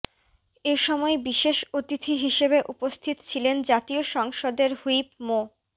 এসময় বিশেষ অতিথি হিসেবে উপস্থিত ছিলেন জাতীয় সংসদের হুইপ মো